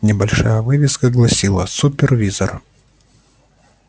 небольшая вывеска гласила супервизор